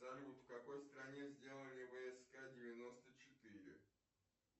салют в какой стране сделали вск девяносто четыре